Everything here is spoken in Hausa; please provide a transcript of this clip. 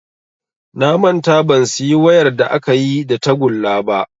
Na manta ban siyi wayar da akayi da tagulla ba